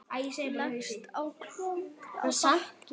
Leggst á gólfið á bakið.